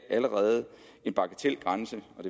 en bagatelgrænse